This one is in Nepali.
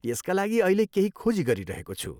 यसका लागि अहिले केही खोजी गरिरहेको छु।